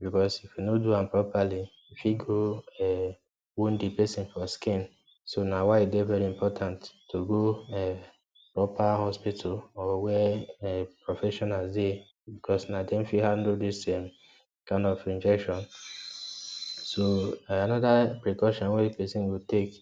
Because, if you no do am properly, e fit go um wound di person for skin. So na why e dey very important to go um upper hospital or where um professionals dey because na dem fit handle dis um kind of injection. So, anoda precaution wey person go take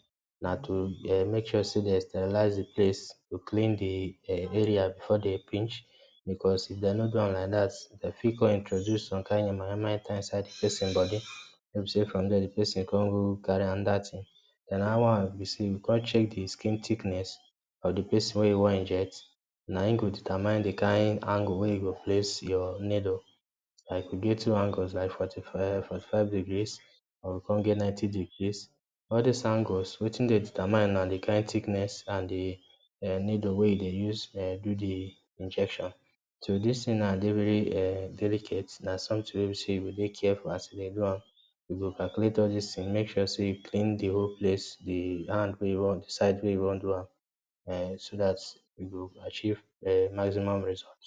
na to um make sure sey den sterilize di place, to clean di um area before den pinch, because if den nor do am like dat den fit introduce some kind yamayama enter di person body, wey be sey from dier di person kon go carry anoda tin. Den anoda one be sey you kon check di skin thickness or di place wey you wan inject, naim go determine di kind angle wey you go place your needle. Like we get two angles, like forty-five, forty-five degrees, um we kon get ninety degree. All dis angles wetin dey determine na di kind thickness and di um needle wey you dey use, um do di injection. So, dis tin now dey very um delicate, na sometin wey be sey you go dey careful as you dey do am, you go calculate all dis tin, make sure sey you clean di whole place, di hand wey you wan, di side wey you wan do am, um so dat you go achieve um maximum result.